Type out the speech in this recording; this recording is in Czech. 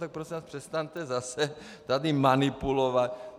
Tak prosím vás, přestaňte zase tady manipulovat.